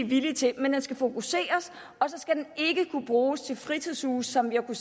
villige til men den skal fokuseres og så skal den ikke kunne bruges til fritidshuse som den